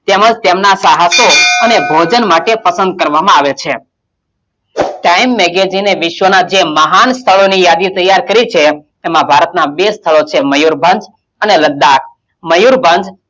તેમજ તેમનાં ચાહકો અને ભોજન માટે પસંદ કરવામાં આવે છે time magazine એ વિશ્વનાં જે મહાન સ્થળોની યાદી તૈયાર કરી છે એમાં ભારતમાં બે સ્થળો છે મયુરભંજ અને લદ્દાક મયુરભંજ,